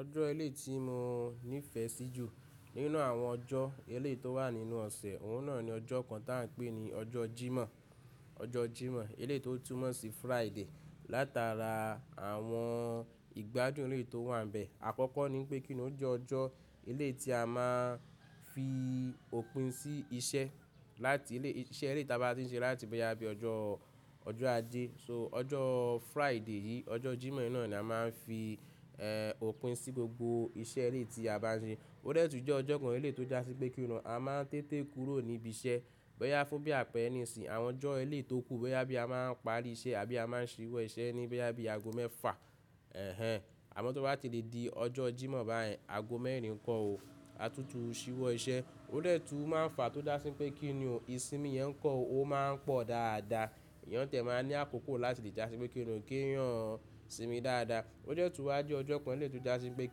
Ọjọ́ elé ti mo nífẹ̀ẹ́ sí jù nínú àwọn ọjọ́ elé tó wà nínú ọ̀sẹ̀, òun náà ni ọjọ́ kan tá ń pè ní ọjọ́ Jímọ̀. Ọjọ́ Jímọ̀ elé tó túmọ̀ sí Friday látara àwọn ìgbádùn elé tó wà bẹ. Àkọ́kọ́ ni pé kín ó jẹ́ ọjọ́ elé tí a máa ń fi òpin sí iṣẹ́ láti elé iṣẹ́ elé táa bá ti ń ṣe láti bẹ yá bí ọjọ́, ọjọ́ Ajé. So ọjọ́ Friday yìí, ọjọ́ Jímọ̀ náà ni a máa ń fi eh òpin sí gbogbo iṣẹ́ elé tí a bá ń ṣe. Ó dẹ́ẹ̀tú jẹ́ ọjọ́ kan elé tó dá sí pé kí nù a máa ń tètè kúrò níbi iṣẹ́ bẹ yá fún bí àpẹ̀rẹ ní ìsìn. Àwọn ọjọ́ elé tó kù bẹ yá bí a máa ń parí iṣẹ́ àbí a máa ń ṣíwọ́ iṣẹ́ ní bẹ yá bí ago mẹ́fà. Ẹ̀hẹn. Àmọ́ tó bá ti di di ọjọ́ Jímọ̀ báyìí, ago mẹ́rin kọ́ o, a tútù ṣíwọ́ iṣẹ́. Ó dẹ́ẹ̀tú máa ń fàá tó dá sí pé kí nù ìsinmi yẹn kọ́ o máa ń pọ̀ dáadáa. Èèyàn tẹ̀ máa ń ní àkókò láti lè já sí pé kí ni o kí èèyàn sinmi dáadáa. Ó dẹ́ẹ̀tú wá jẹ́ ọjọ́ kan elé tó dá sí pé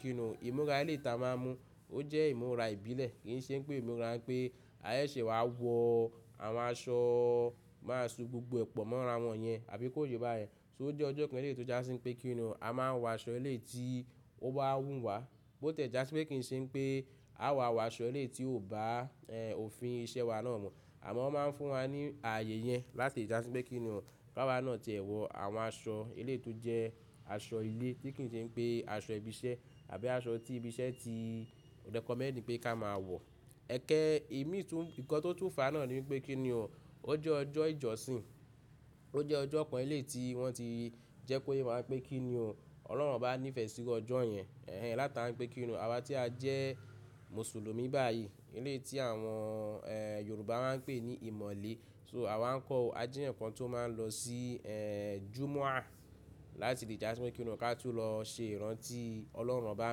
kí nù ìmúra elé táa máa ń mu ó jẹ́ ìmúra ìbílẹ̀. Kì ń ṣe pé ìmúra pé a ṣè wá wọ àwọn aṣọ, máa ṣú gbogbo ẹ́pọ̀ mọ́ra wọn yẹn àbí kó yẹ bá yẹn. So ó jẹ́ ọjọ́ kan elé tó já sí pé kí ni a máa ń wọ aṣọ elé tí ó bá wù wá. Bó tẹ̀ já sí pé kì ń ṣe pé a wọ àwọn aṣọ elé tí ò bá eh òfin iṣẹ́ wa náà mu Àmọ́ wọ́n máa ń fún wa ní ààyè yẹn láti lè já sí pé kí ni ká wá náà tẹ́ ẹ wọ àwọn aṣọ elé tó jẹ́ aṣọ ilé tí kì ń ṣe pé aṣọ ibi iṣẹ́ àbí aṣọ tí ibi iṣẹ́ ti rẹ̀kọ̀ mẹ́ni pé ká máa wọ̀. Ẹ̀kẹ́ ìmi tún-- nǹkan tó tún fàá náà ni pé kí ni ó jẹ́ ọjọ́ ìjọsìn, ó jẹ́ ọjọ́ kan elé tí wọ́n ti jẹ́ kó yẹ máa ń pẹ́ kí ni Ọlọ́run obá nífẹ̀ẹ́ sí iwú ọjọ́ yẹn. Ẹ̀hẹn. Láti bá ń pẹ́ kí ni àwa tí a jẹ́ Mùsùlùmí báyìí, elé tí àwọn eh Yorùbá máa ń pè ní ìmọ̀le. So àwa ń kọ́ o, a jí ǹkan tó máa ń lọ sí eh Jùmọà láti lè já sí pé kí ni ká tún lọ ṣe ìrántí Ọlọ́run bá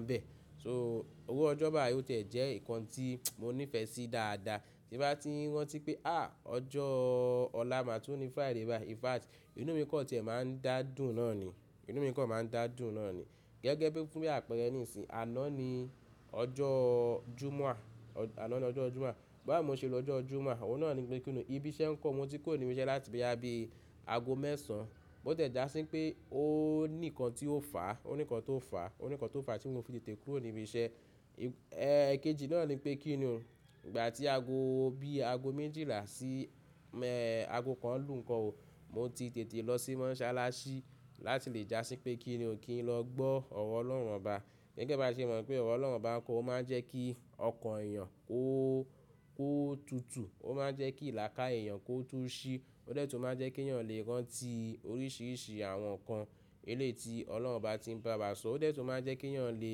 ń bẹ. So owó ọjọ́ báyìí ó tẹ̀ jẹ́ ǹkan tí mo nífẹ̀ẹ́ sí dáadáa. Tí bá ti ń rántí pé à ọjọ́ ọ̀la máa tún ní Friday báyìí. In fact inú mi kan tẹ̀ máa ń dà dùn náà ni. Inú mi kọ́ máa ń dà dùn náà ni. Gẹ́gẹ́ bí fún bí àpẹ̀rẹ ní ìsìn àná ni ọjọ́ Jùmọà, àná ni ọjọ́ Jùmọà. Bí a mọ̀ ṣe lọ ọjọ́ Jùmọà, òun náà ni pé kí nù ibi iṣẹ́ ń kọ́ mo ti kó ìrìn iṣẹ́ láti bẹ yá bí ago mẹ́sàn-án. Bó tẹ̀ já sí pé ó ní ǹkan tí ó fàá, ó ní ǹkan tí ó fàá, ó ní ǹkan tí ó fàá tí mo fi tètè kúrò ní ibi iṣẹ́. Eh kejì náà ni pé kí ni ìgbà tí ago bí ago méjìlá sí me ago kan lù nǹkọ́ o, mo ti tètè lọ sí Mọ́ṣáláṣí láti lè já sí pé kí nù kí n lọ gbọ́ ọ̀rọ̀ Ọlọ́run bá. Gẹ́gẹ́ bá ṣe mọ̀ pé ọ̀rọ̀ Ọlọ́run bá ń kó o máa ń jẹ́ kí ọkàn èèyàn ó kó tutù, ó máa ń jẹ́ kí lakaye èèyàn kó tú ṣí. Ó dẹ́ẹ̀tú máa ń jẹ́ kí èèyàn lè rántí oríṣìíríṣìí àwọn ǹkan elé tí Ọlọ́run obá ti ń bá wa sọ. Ó dẹ́ẹ̀tú máa ń jẹ́ kí èèyàn lè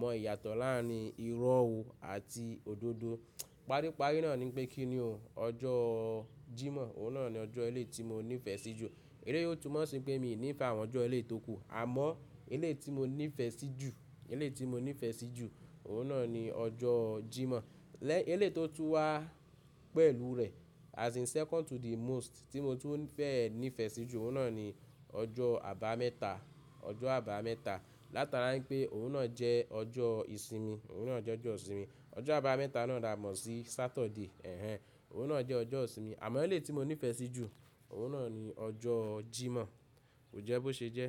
mọ ìyàtọ̀ láàárín irọ́ àti òdodo. Paríparí náà ni pé kí nù ọjọ́ Jímọ̀ òun náà ni ọjọ́ elé tí mo nífẹ̀ẹ́ sí jù. Elé ó tún mọ̀ sí pé mi ò nífẹ̀ẹ́ àwọn ọjọ́ elé tó kù. Àmọ́ elé tí mo nífẹ̀ẹ́ sí jù, elé tí mo nífẹ̀ẹ́ sí jù òun náà ni ọjọ́ Jímọ̀. Lẹ elé tó tún wá pẹ̀lú rẹ̀ as in second to the most tí mo tún fẹ́ nífẹ̀ẹ́ sí jù òun náà ni ọjọ́ àbámẹ́ta, ọjọ́ àbámẹ́ta látara ní pé òun náà jẹ́ ọjọ́ ìsinmi, òun náà jẹ́ ọjọ́ ìsinmi. Ọjọ́ àbámẹ́ta náà dà á mọ́ sí Saturday. Ẹ̀hẹn. Òun náà jẹ́ ọjọ́ ìsinmi. Àmọ́ elé tí mo nífẹ̀ẹ́ sí jù òun náà ni ọjọ́ Jímọ̀. Kò jẹ́ bó ṣe jẹ́?